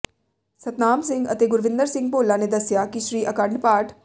ਸਤਨਾਮ ਸਿੰਘ ਅਤੇ ਗੁਰਵਿੰਦਰ ਸਿੰਘ ਭੋਲਾ ਨੇ ਦੱਸਿਆ ਕਿ ਸ੍ਰੀ ਅਖੰਡ ਪਾਠ